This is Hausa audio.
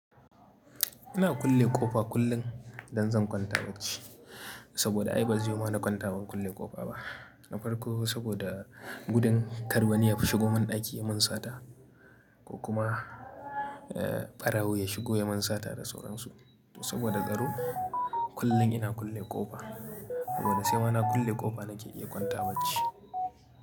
Ina kulle ƙofa kullum idan zan kwanta bacci saboda ai ba zai yiwu ma na kwanta ban kulle ƙofa ba. Na farko saboda gudun kar wani ya shigo mun daki mun sata ko kuma, ɓarawo ya shigo ya mun sata da sauran su. Saboda tsaro kullum ina kulle ƙofa saboda sai mana kulle ƙofa nake iya kwanta bacci.